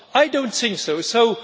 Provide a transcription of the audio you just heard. I do not think so.